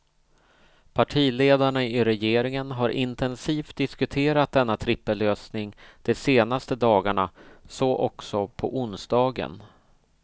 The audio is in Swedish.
Partiledarna i regeringen har intensivt diskuterat denna trippellösning de senaste dagarna, så också på onsdagen.